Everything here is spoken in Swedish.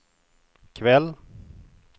kväll